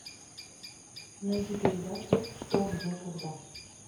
найди передачу что где когда